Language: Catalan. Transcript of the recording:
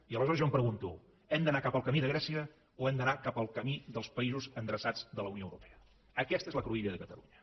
i aleshores jo em pregunto hem d’anar cap al camí de grècia o hem d’anar cap al camí dels països endreçats de la unió europea aquesta és la cruïlla de catalunya